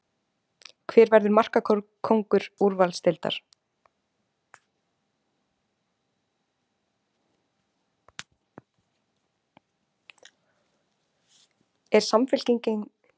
Er Samfylkingin að missa tengsl við kjarna kjósenda sinna?